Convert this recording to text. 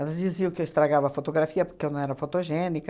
Elas diziam que eu estragava a fotografia porque eu não era fotogênica.